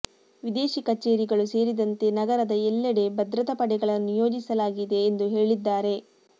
ವಿದೇಶಿ ಕಚೇರಿಗಳು ಸೇರಿದಂತೆ ನಗರದ ಎಲ್ಲೆಡೆ ಭದ್ರತಾ ಪಡೆಗಳನ್ನು ನಿಯೋಜಿಸಲಾಗಿದೆ ಎಂದು ಹೇಳಿದ್ದಾರೆ